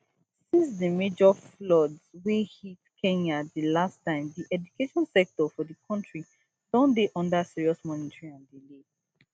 since di major floods wey hit kenya di last time di education sector for di country don dey under serious monitoring and delay